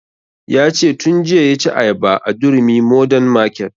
Ya ce tun jiya ya ci ayaba a durumi modern market